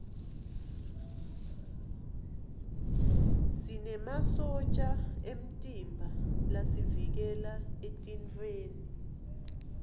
sinemasotja emtimba lasivikela etifweni